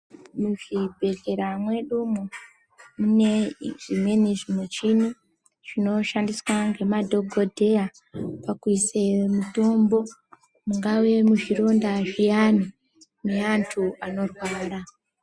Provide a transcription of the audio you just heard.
Muzvibhehlera mwedu umwu mune zvimweni zvimushini zvinoshandiswa ngemadhokodheya pakuise mutombo mungava muzvironda zviyani meantu anorwara.